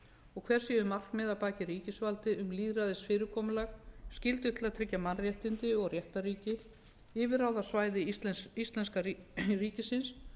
og hver séu markmið að baki ríkisvaldi um lýðræðisfyrirkomulagið skyldu til að tryggja mannréttindi og réttarríki yfirráðasvæði íslenska ríkisins